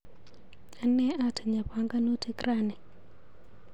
Ane atinye panganutik rani.